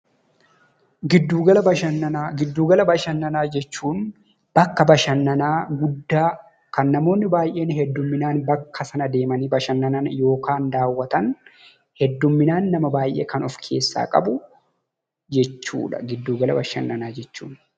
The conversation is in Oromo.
Giddugala bashannanaa bakka bashannanaa guddaa kan namoonni baay'een heddumminaan bakka sana deemanii bashannan yookiin daawwatan jechuudha.